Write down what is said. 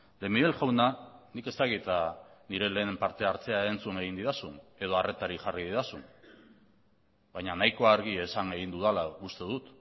de miguel jauna nik ez dakit nire lehen parte hartzea entzun egin didazun edo harretarik jarri didazun baina nahiko argi esan egin dudala uste dut